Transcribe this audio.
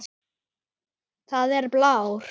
Það er blár.